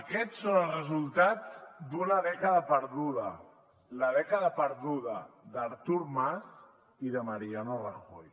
aquests són els resultats d’una dècada perduda la dècada perduda d’artur mas i de mariano rajoy